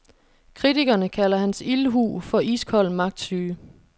Kritikerne kalder hans ildhu for iskold magtsyge.